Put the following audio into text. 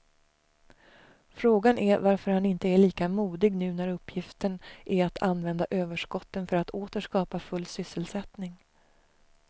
Frågan är varför han inte är lika modig nu när uppgiften är att använda överskotten för att åter skapa full sysselsättning.